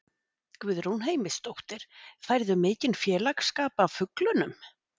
Guðrún Heimisdóttir: Færðu mikinn félagsskap af fuglunum?